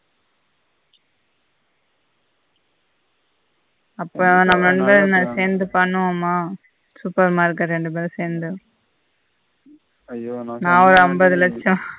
அப்ப நம்ம ரெண்டு பெருமா சேர்ந்து பண்ணுவோமா super market எ ரெண்டு பெரும் சேர்ந்து ஐய்யோ நான் ஒரு ஐம்பது லட்சம்